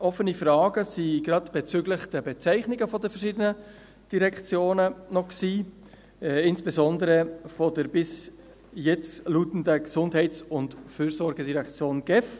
Offene Fragen bestanden bezüglich der Bezeichnungen der Direktionen, insbesondere betreffend die bisherige Gesundheits- und Fürsorgedirektion (GEF).